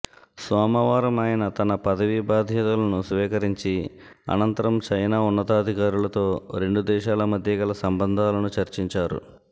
సోమవారం ఆయన తన పదవీ బాధ్యతలను స్వీకరించి అనంతరం చైనా ఉన్నతాధికారులతో రెండు దేశాల మధ్యగల సంబంధాలను చర్చించారు